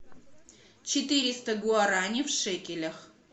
четыреста гуарани в шекелях